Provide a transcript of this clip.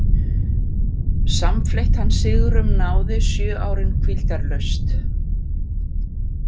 Samfleytt hann sigrum náði sjö árin hvíldarlaust.